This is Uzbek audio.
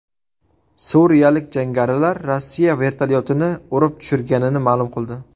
Suriyalik jangarilar Rossiya vertolyotini urib tushirganini ma’lum qildi.